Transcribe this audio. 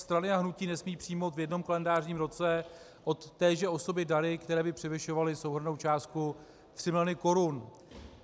Strany a hnutí nesmí přijmout v jednom kalendářním roce od téže osoby dary, které by převyšovaly souhrnnou částku 3 mil. korun.